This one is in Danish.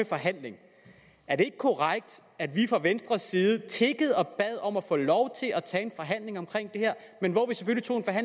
forhandling er det ikke korrekt at vi fra venstres side tiggede og bad om at få lov til at tage en forhandling om det her